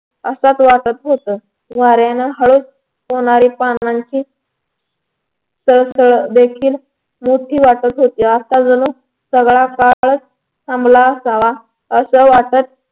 असच वाटत होत वाऱ्याने हळूच होणाऱ्या पानांची सळसळ देखील मोठी वाटत होती आत्ता जणू सगळं काळच थांबला असावा असं वाटतं